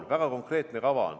On väga konkreetne kava.